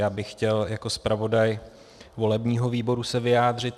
Já bych chtěl jako zpravodaj volebního výboru se vyjádřit.